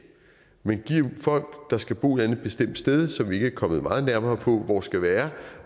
man giver folk der skal bo et eller andet bestemt sted som vi ikke er kommet meget nærmere på hvor skal være